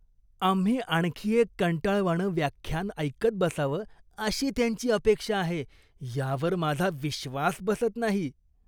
आम्ही आणखी एक कंटाळवाणं व्याख्यान ऐकत बसावं अशी त्यांची अपेक्षा आहे यावर माझा विश्वास बसत नाही.